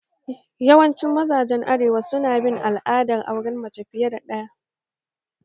Yawancin mazajen arewa su na bin al'adar auren mace fiye da ɗaya